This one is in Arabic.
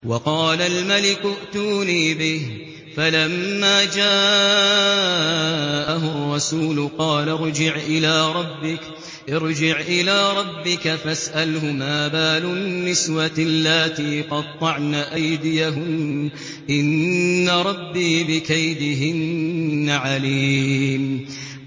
وَقَالَ الْمَلِكُ ائْتُونِي بِهِ ۖ فَلَمَّا جَاءَهُ الرَّسُولُ قَالَ ارْجِعْ إِلَىٰ رَبِّكَ فَاسْأَلْهُ مَا بَالُ النِّسْوَةِ اللَّاتِي قَطَّعْنَ أَيْدِيَهُنَّ ۚ إِنَّ رَبِّي بِكَيْدِهِنَّ عَلِيمٌ